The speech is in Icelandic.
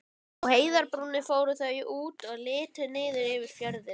Á heiðarbrúninni fóru þau út og litu niður yfir fjörðinn.